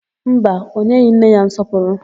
Mba, o nyeghị nne ya nsọpụrụ.